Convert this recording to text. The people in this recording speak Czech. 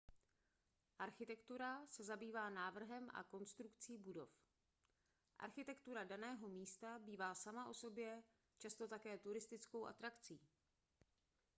architektura se zabývá návrhem a konstrukcí budov architektura daného místa bývá sama o sobě často také turistickou atrakcí